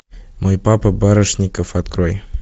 мой папа барышников открой